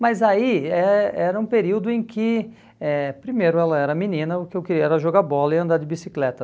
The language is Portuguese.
Mas aí eh era um período em que, eh primeiro, ela era menina, o que eu queria era jogar bola e andar de bicicleta.